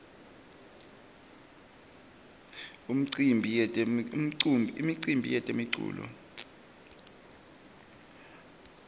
imiumbi yetemculo